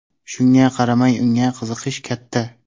Shunga qaramay unga qiziqish katta.